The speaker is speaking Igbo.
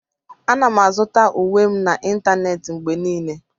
Ana m azụta uwe m n'ịntanetị mgbe niile.